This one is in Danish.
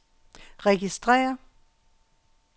registrér